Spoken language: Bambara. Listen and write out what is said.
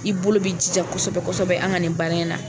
I bolo bɛ jija kosɛbɛ kosɛbɛ an ka nin baara in na